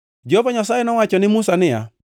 Jehova Nyasaye nowacho ne Musa niya,